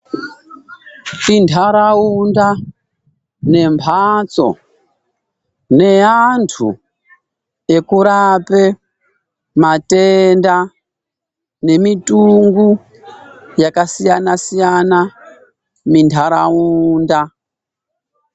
Indaraunda nembatso neantu ekurape matenda nemitungu yakasiyana siyana mundaraunda.